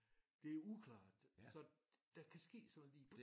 Det uklart så der kan ske sådan noget lige